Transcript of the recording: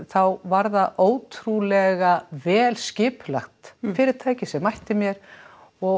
þá var það ótrúlega vel skipulagt fyrirtæki sem mætti mér og